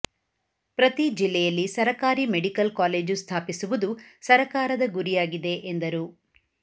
ಪ್ರತೀ ಜಿಲ್ಲೆಯಲ್ಲಿ ಸರಕಾರಿ ಮೆಡಿಕಲ್ ಕಾಲೇಜು ಸ್ಥಾಪಿಸುವುದು ಸರಕಾರದ ಗುರಿಯಾಗಿದೆ ಎಂದರು